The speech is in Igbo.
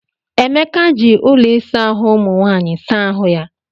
Emeka ji ụlọ ịsa ahụ umụ nwanyị saa ahụ.